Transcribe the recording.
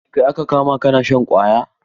Kai aka kama kana shan ƙwaya?